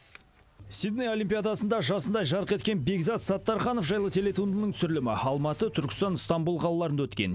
сидней олимпиадасында жасындай жарқ еткен бекзат саттарханов жайлы телетуындының түсірілімі алматы түркістан ыстамбұл қалаларында өткен